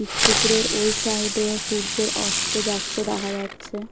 পুকুরের ওই সাইড এর সূর্যের অস্ত যাচ্ছে দেখা যাচ্ছে।